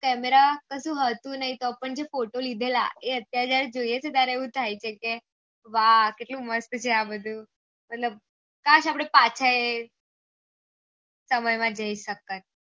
camera કશું હોતું નહી તો પણ આપળે ફોટો લીધેલા એ અત્યારે જોયીયે છે ત્યારે આવું થાય છે કે વાહ કેટલું મસ્ત છે આ બધું કાસ આપળે પાછા એ સમય માં જાય સકતા